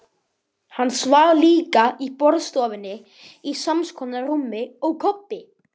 Hann svaf líka í borðstofunni, í samskonar rúmi og Kobbi.